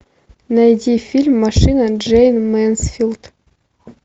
найди фильм машина джейн мэнсфилд